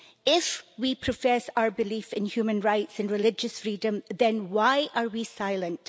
If we profess our belief in human rights and religious freedom, then why are we silent?